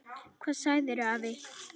Hvað segirðu afi?